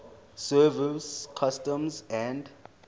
service customs and